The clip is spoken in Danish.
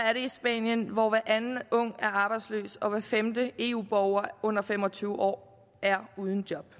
er det i spanien hvor hver anden ung er arbejdsløs og hver femte eu borger under fem og tyve år er uden job